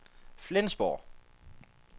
Flensborg